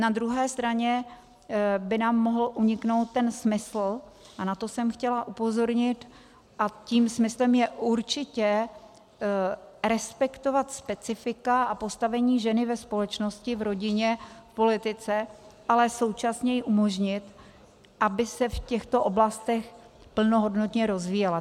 Na druhé straně by nám mohl uniknout ten smysl, a na to jsem chtěla upozornit, a tím smyslem je určitě respektovat specifika a postavení ženy ve společnosti, v rodině, v politice, ale současně jí umožnit, aby se v těchto oblastech plnohodnotně rozvíjela.